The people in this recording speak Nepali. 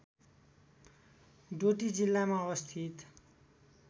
डोटी जिल्लामा अवस्थित